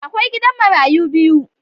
Akwai gidan marayu biyu.